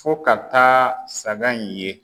Fo ka taa saga in ye.